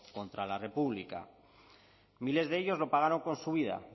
contra la república miles de ellos lo pagaron con su vida